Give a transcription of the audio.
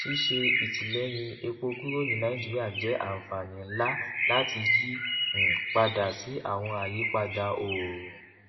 ṣíṣe ìtìlẹyìn epo kúrò ní nàìjíríà jẹ àǹfààní ńlá láti yí um padà sí àwọn àyípadà oorun